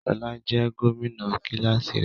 Ṣọla jẹ gomina kilasi rẹ.